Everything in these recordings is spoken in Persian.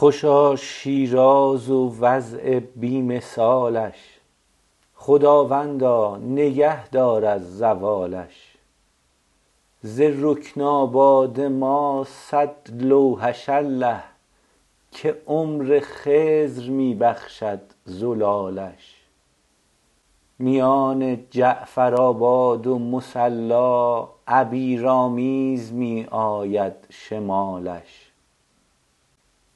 خوشا شیراز و وضع بی مثالش خداوندا نگه دار از زوالش ز رکن آباد ما صد لوحش الله که عمر خضر می بخشد زلالش میان جعفرآباد و مصلا عبیرآمیز می آید شمالش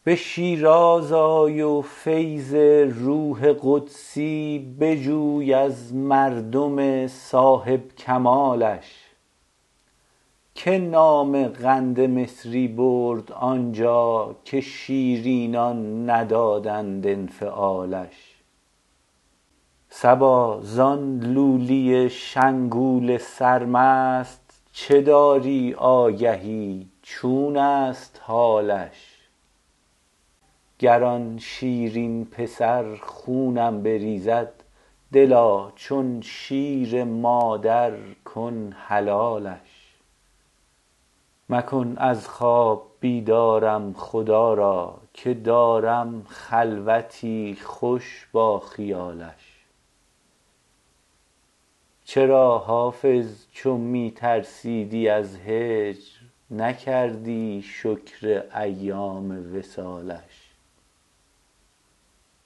به شیراز آی و فیض روح قدسی بجوی از مردم صاحب کمالش که نام قند مصری برد آنجا که شیرینان ندادند انفعالش صبا زان لولی شنگول سرمست چه داری آگهی چون است حالش گر آن شیرین پسر خونم بریزد دلا چون شیر مادر کن حلالش مکن از خواب بیدارم خدا را که دارم خلوتی خوش با خیالش چرا حافظ چو می ترسیدی از هجر نکردی شکر ایام وصالش